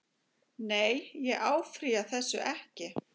Nei ég áfrýja þessu ekki.